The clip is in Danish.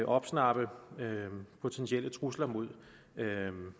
opsnappe potentielle trusler mod